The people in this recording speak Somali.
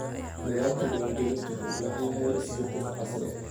Nidaamka diiwaangelinta wuxuu u baahan yahay isbeddel casri ah.